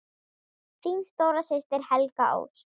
Þín stóra systir, Helga Ósk.